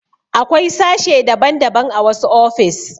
Akwai sashe daban daban a wasu ofis